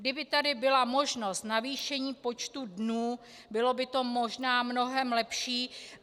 Kdyby tady byla možnost navýšení počtu dnů, bylo by to možná mnohem lepší.